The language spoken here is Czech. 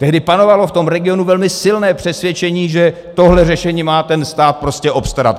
Tehdy panovalo v tom regionu velmi silné přesvědčení, že tohle řešení má ten stát prostě obstarat.